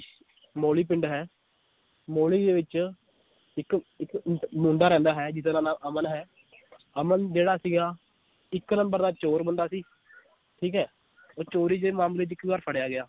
ਮੋਲੀ ਪਿੰਡ ਹੈ ਮੋਲੀ ਦੇ ਵਿਚ ਇਕ ਇਕ ਮੁੰਡਾ ਰਹਿੰਦਾ ਹੈ ਜਿਹਦਾ ਨਾਂ ਅਮਨ ਹੈ ਅਮਨ ਜਿਹੜਾ ਸੀਗਾ ਇੱਕ number ਦਾ ਚੋਰ ਬੰਦਾ ਸੀ ਠੀਕ ਏ ਉਹ ਚੋਰੀ ਦੇ ਮਾਮਲੇ ਚ ਇੱਕ ਵਾਰ ਫੜਿਆ ਗਿਆ